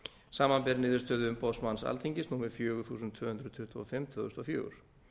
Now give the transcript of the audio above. samanber niðurstöðu umboðsmanns alþingis númer fjögur þúsund tvö hundruð tuttugu og fimm tvö þúsund og fjögur